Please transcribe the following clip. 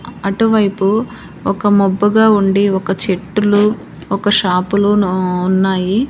అటువైపు ఒక మబ్బుగా ఉండి ఒక చెట్టులు ఒక షాపులోనూ ఉన్నాయి.